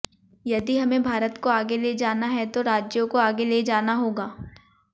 यदि हमें भारत को आगे ले जाना है तो राज्यों को आगे ले जाना होगा